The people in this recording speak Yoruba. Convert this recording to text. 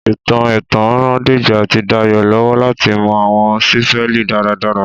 Ìtàn ẹ̀tàn ran Dèjì àti Dayò lọ́wọ́ láti mọ àwọn sípélì dára dára